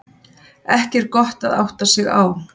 Ekki er gott að átta sig á